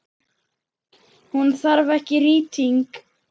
Hún þarf ekki rýting.